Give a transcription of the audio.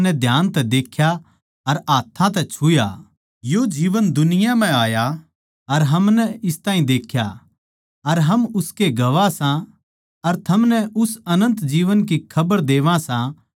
यो जीवन दुनिया म्ह आया अर हमनै इस ताहीं देख्या अर हम उसके गवाह सां अर थमनै उस अनन्त जीवन की खबर देवां सां जो पिता कै गैल था अर म्हारै पै जाहिर होया